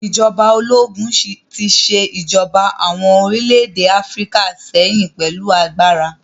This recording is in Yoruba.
Ìjọba ológun tí ṣe ìjọba àwọn orílẹ̀-èdè Áfíríkà sẹ́yìn pẹ̀lú agbára